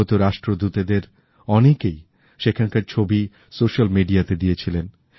আগত রাষ্ট্রদূতেদের অনেকেই সেখানকার ছবি সোশ্যালমিডিয়াতে দিয়েছিলেন